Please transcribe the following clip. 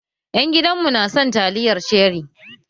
Ƴan gidan mu na son taliyar ceri.